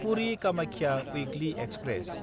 पुरि–कामाख्या weekly express